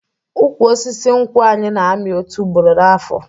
Ụkwụ osisi nkwụ anyị na-amị otu ugboro n'afo